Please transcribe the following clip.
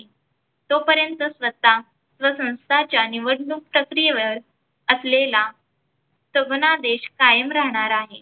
तोपर्यंत स्वतः व संस्थेच्या निवडणूक प्रक्रियेवर असलेला सबना देश कायम राहणार आहे.